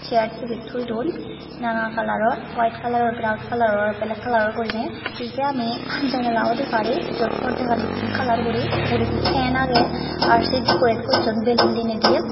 chair tibil thoi dun nana kalaror wite kalaror braon kalaror black kalaror m guriney pijedi ami janala dey parir jut porda gani pink colour guri uguredi fan agey ar se decorate gochun belun dine di.